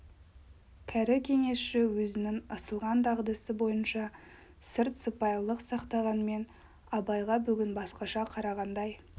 кәрі кеңесші өзінің ысылған дағдысы бойынша сырт сыпайылық сақтағанмен абайға бүгін басқаша қарағандай